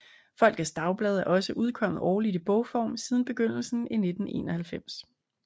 Folkets Dagblad er også udkommet årligt i bogform siden begyndelsen i 1991